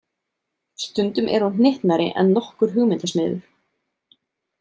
Stundum er hún hnyttnari en nokkur hugmyndasmiður.